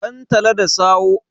dantata da sawoe